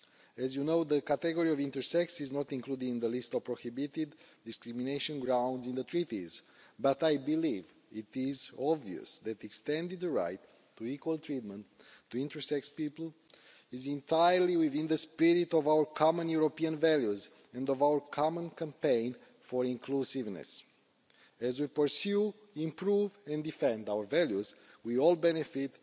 is. As you know, the category of intersex is not included on the list of prohibited discrimination grounds in the Treaties, but I believe it is obvious that extending the right to equal treatment for intersex people is entirely within the spirit of our common European values and our common campaign for inclusiveness. As we pursue, improve and defend our values, we all